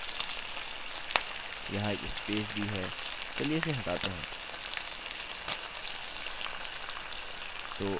हमें ऊपर एक लाइन ब्रेक मिलेगा क्योंकि हमने यह किया है – यहाँ एक स्पेस दी है चलिए इसे हटाते हैं